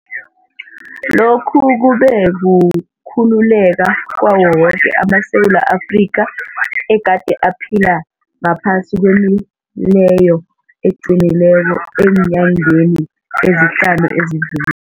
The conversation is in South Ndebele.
Lokhu kube kukhululeka kwawo woke amaSewula Afrika egade aphila ngaphasi kwemileyo eqinileko eenyangeni ezihlanu ezidluli